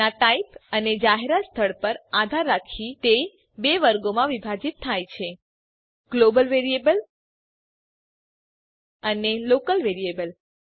તેનાં ટાઇપ અને જાહેરાતનાં સ્થળ પર આધાર રાખી તે બે વર્ગોમાં વિભાજીત થાય છે ગ્લોબલ વેરીએબલ અને લોકલ વેરીએબલ